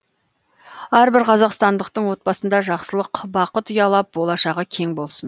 әрбір қазақстандықтың отбасында жақсылық бақыт ұялап болашағы кең болсын